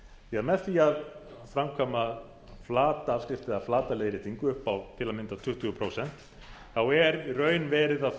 því með því að framkvæma flata afskrift eða flata leiðréttingu upp á til að mynda tuttugu prósent þá er í raun verið að